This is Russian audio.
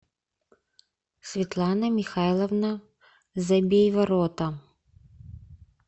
светлана михайловна забейворота